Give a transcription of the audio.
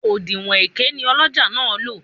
Òdinwọ̀n èké ni ọlọ́jà náà ń lò